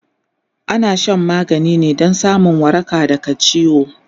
ana Shan magani ne Dan samun waraka daga ciwo